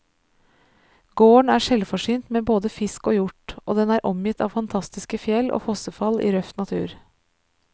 Gården er selvforsynt med både fisk og hjort, og den er omgitt av fantastiske fjell og fossefall i røff natur.